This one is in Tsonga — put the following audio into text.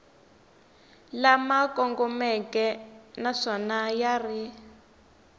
lama kongomeke naswona ya ri